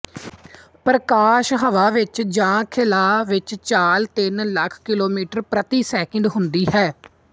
ਪ੍ਰਕਾਸ਼ ਹਵਾ ਵਿੱਚ ਜਾਂ ਖਲਾਅ ਵਿੱਚ ਚਾਲ ਤਿੰਨ ਲੱਖ ਕਿਲੋਮੀਟਰ ਪ੍ਰਤੀ ਸੈਕਿੰਡ ਹੁੰਦੀ ਹੈ